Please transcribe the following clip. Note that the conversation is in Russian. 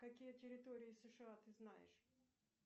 какие территории сша ты знаешь